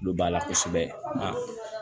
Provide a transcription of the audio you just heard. Olu b'a la kosɛbɛ nga